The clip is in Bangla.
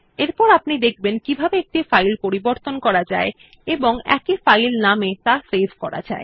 এরপর আপনি দেখবেন কিভাবে একটি ফাইল পরিবর্তন করা যায় এবং একই ফাইল নাম এ ত়া সেভ করা যায়